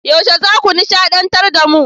Yaushe zaku nishadantar da mu?